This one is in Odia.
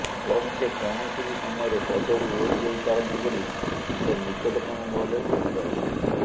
ବରଂ ସେ କୌଣସି ବି ସମୟରେ ପଦରୁ ଓହରିଯାଇପାରନ୍ତି ବୋଲି ତାଙ୍କ ନିକଟତମ ମହଲରେ ଚର୍ଚା ହେଉଛି